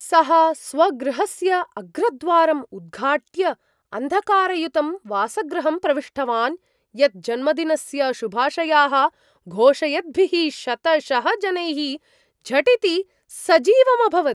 सः स्वगृहस्य अग्रद्वारम् उद्घाट्य अन्धकारयुतं वासगृहं प्रविष्टवान्, यत् जन्मदिनस्य शुभाशयाः घोषयद्भिः शतशः जनैः झटिति सजीवम् अभवत्।